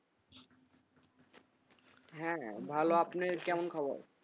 হ্যাঁ ভালো আপনি কেমন খবর?